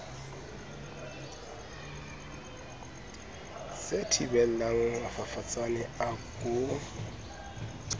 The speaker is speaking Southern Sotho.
se thibelang mafafatsane a ko